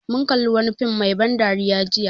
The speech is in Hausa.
Mun kalli wani fim mai ban dariya jiya